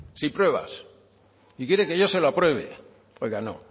sin pruebas y quiere que yo se lo apruebe oiga no